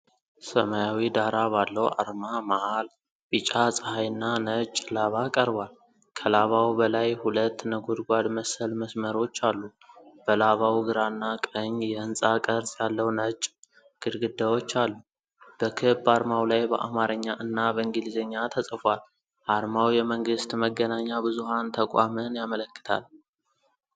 ሰማያዊ ዳራ ባለው አርማ መሃል ቢጫ ፀሐይና ነጭ ላባ ቀርቧል። ከላባው በላይሁለት ነጎድጓድ መሰል መስመሮች አሉ። በላባው ግራና ቀኝ የሕንፃ ቅርጽ ያለው ነጭ ግድግዳዎች አሉ። በክብ አርማው ላይ በአማርኛ እና በእንግሊዝኛ ተጽፏል። አርማው የመንግስት መገናኛ ብዙኃን ተቋምን ያመለክታል።